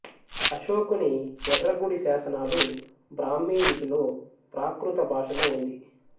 అశోకుని ఎర్రగుడి శాసనాలు బ్రాహ్మీ లిపిలో ప్రాకృత భాషలో ఉంది